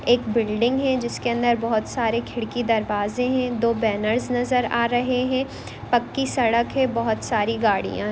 एक बिल्डिंग है जिसके अंदर बहुत सारे खिड़की दरवाजे है दो बैनर्स नजर आ रहे है पक्की सड़क है बहुत सारी गाडिया है।